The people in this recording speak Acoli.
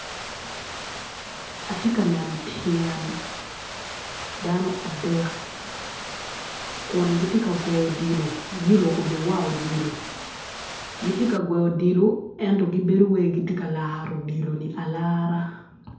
Atye ka neno tyen dano adek kun gitye ka gweo odilo giruko bene war odilo gitye ka gweo odilo ento gibedo wai gitye ka laro odilo ni alara.